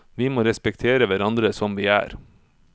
Vi må respektere hverandre som vi er.